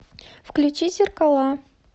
включи зеркала